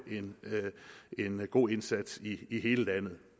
en god indsats i hele landet